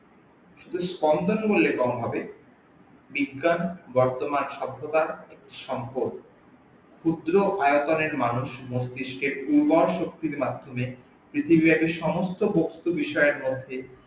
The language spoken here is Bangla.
শুধু সম্পদ বললে কম হবে, বিজ্ঞানের বর্তমান সভ্যতার সম্পদ ক্ষুদ্র আয়তনের মানুষ মস্তিস্কে উন্মার শক্তির মাধ্যমে সমস্ত বস্তু বিষয়ের মধ্যে